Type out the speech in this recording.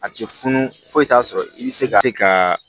A tɛ funu fo t'a sɔrɔ i bɛ se ka se ka